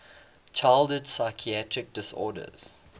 childhood psychiatric disorders